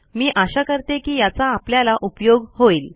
मी आशा करते की याचा आपल्याला उपयोग होईल